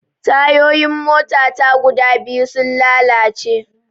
Tayoyin mota ta guda biyu sun lalace